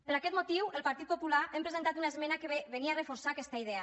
per aquest motiu el partit popular hem presentat una esmena que venia a reforçar aquesta idea